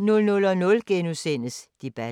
00:00: Debatten *